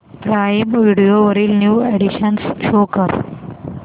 prime video वरील new additions show कर